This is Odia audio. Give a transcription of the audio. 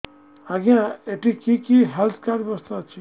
ଆଜ୍ଞା ଏଠି କି କି ହେଲ୍ଥ କାର୍ଡ ବ୍ୟବସ୍ଥା ଅଛି